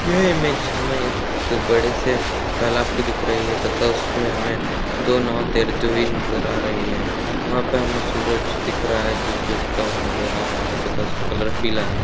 यह हमे एक बड़े तलाब की दिख रही है तथा उसमे हमे दो नाव तैरती हुई नज़र आ रही हैं। वहाँ पे हमे सूरज दिख रहा है जो की उगता हुआ नज़र आ रहा है तथा उसका कलर पीला है।